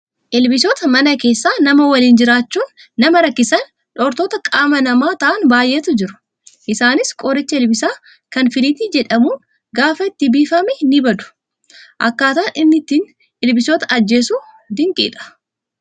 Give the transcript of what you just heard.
Ilbiisota mana keessa nama waliin jiraachuun nama rakkisanii dhortoota qaama namaa ta'an baay'eetu jiru. Isaanis qoricha ilbiisaa kan filiitii jedhamuun gaafa itti biifame ni bada. Akkaataan inni ittiin ilbiisota ajjeesu dinqiidha.